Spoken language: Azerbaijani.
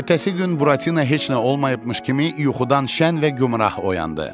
Ertəsi gün Buratino heç nə olmayıbmış kimi yuxudan şən və gümrah oyandı.